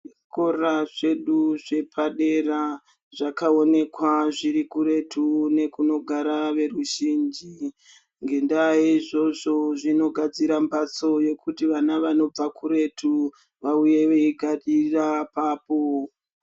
Zvikora zvedu zvepadera zvakaonekwa zviri kuretu nekunogara veruzhinji. Ngendaa yeizvozvo zvinogadzira mbatso dzekuti vana vanobva kuretu vauye veigarira apapo.